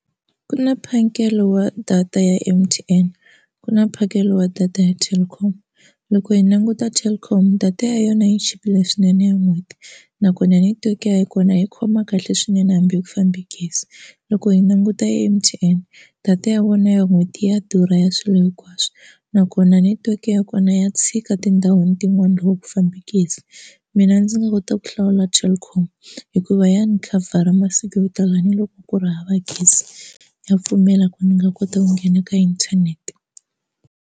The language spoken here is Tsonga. Ku na mphakelo wa data ya M_T_N ku na mphakelo wa data ya Telkom loko hi languta Telkom data ya yona yi chipile swinene ya n'hweti nakona hi ta ku ya hi kona hi khoma kahle swinene hambi hi ku fambe gezi loko hi languta M_T_N data ya vona ya n'hweti ya durha ya swilo hinkwaswo nakona netiweke ya kona ya tshika tindhawini tin'wani loko ku fambe gezi mina ndzi nga kota ku hlawula Telkom hikuva ya ni khavhara masiku yo tala ni loko ku ri hava gezi ya pfumela ku ni nga kota ku nghena ka inthanete.